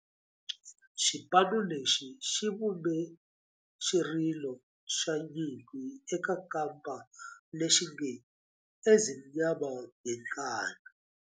Xipano lexi xi vumbe xirilo xa nyimpi xa kampa lexi nge 'Ezimnyama Ngenkani'.